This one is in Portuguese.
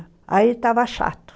Aí estava chato.